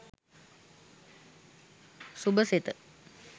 subasetha